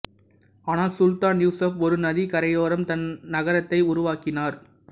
ஆனால் சுல்தான் யூசுப் ஒரு நதிக் கரையோரம் தன் நகரத்தை உருவாக்கினார்